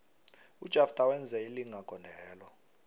ujafter wenze ilinga gondelo